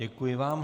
Děkuji vám.